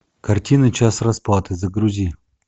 картина час расплаты загрузи